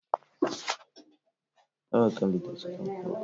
Ndị Katọlik na-eme ụmụaka baptizim n'ebe ahụ na ụbọchị asaa..